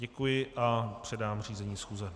Děkuji a předám řízení schůze.